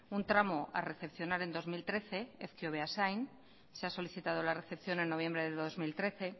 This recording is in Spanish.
un tramo a recepcionar en dos mil trece ezkio beasain se ha solicitado la recepción en noviembre del dos mil trece